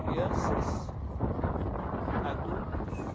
Crianças, adultos,